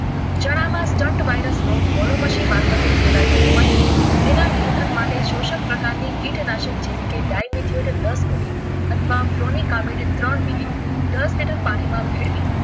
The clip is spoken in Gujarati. ચણામાં તંત વાયરસ રોગ મોનોમસીન મારફતે ફેલવાતો હોવાથી એના નિયંત્રણ માટે જ શોષક પ્રકાર ની કીટ જેવી કે ડાઈમેચ્યોર એટલે કે દસ મિલી અથવા ક્રોનિક કલ્મીડી ત્રણ મિલી દસ લીટર પાણીમાં ભેળવી,